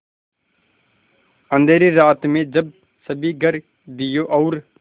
अँधेरी रात में जब सभी घर दियों और